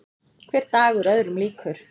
Hver dagur öðrum líkur.